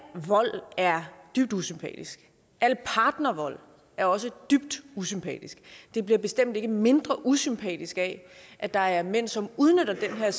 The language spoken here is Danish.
vold er dybt usympatisk al partnervold er også dybt usympatisk og det bliver bestemt ikke mindre usympatisk af at der er mænd som udnytter den her